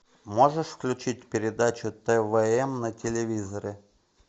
можешь включить передачу твм на телевизоре